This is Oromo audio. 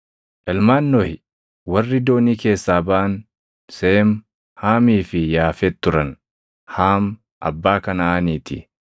Ilmaan Nohi warri doonii keessaa baʼan Seem, Haamii fi Yaafet turan. Haam abbaa Kanaʼaanii ti.